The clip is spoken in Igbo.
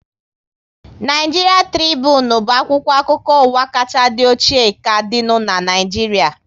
Naịjiria Tribunu bụ akwụkwọ akụkọ ụwa kachaa dị ochie ka dịnu n'Naijiria